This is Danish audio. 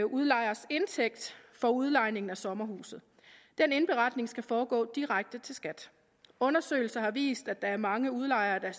udlejers indtægt for udlejning af sommerhuset den indberetning skal foregå direkte til skat undersøgelser har vist at der er mange udlejere der